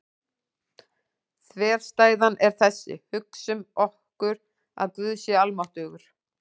Þverstæðan er þessi: Hugsum okkur að Guð sé almáttugur.